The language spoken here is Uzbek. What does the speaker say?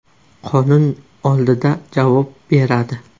Qonun oldida javob beradi.